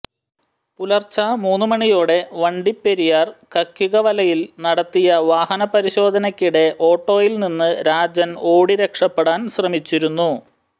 പുലർച്ചെ മൂന്നുമണിയോടെ വണ്ടിപ്പെരിയാർ കക്കികവലയിൽ നടത്തിയ വാഹന പരിശോധനക്കിടെ ഓട്ടോയിൽ നിന്ന് രാജൻ ഓടി രക്ഷപ്പെടാൻ ശ്രമിച്ചിരുന്നു